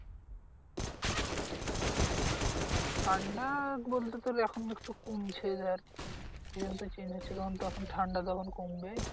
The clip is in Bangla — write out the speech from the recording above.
ঠান্ডা বলতে তোর এখন একটু কমছে ধর season তো change হচ্ছে তখন তো এখন ঠান্ডা তো এখন কমবে।